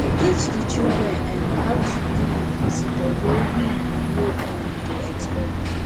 teach di children um how to deal with visitor wey we we no um dey expect